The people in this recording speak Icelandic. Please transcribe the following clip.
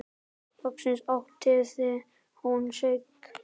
Loksins áttaði hún sig.